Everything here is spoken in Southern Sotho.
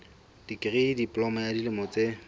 dikri diploma ya dilemo tse